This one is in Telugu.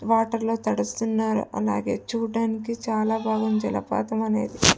వాటర్ లో తడుస్తున్నారు అలాగే చుడ్డానికి చాల బాగుంది జలపాతం అనేది --